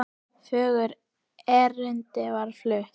Fjögur erindi verða flutt.